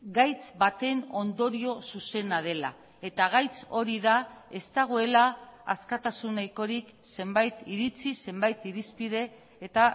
gaitz baten ondorio zuzena dela eta gaitz hori da ez dagoela askatasun nahikorik zenbait iritzi zenbait irizpide eta